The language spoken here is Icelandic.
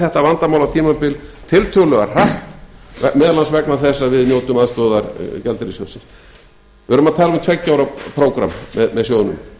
þetta vandamálatímabil tiltölulega hratt meðal annars vegna þess að við njótum aðstoðar gjaldeyrissjóðsins við erum að tala um tveggja ára prógramm með sjóðnum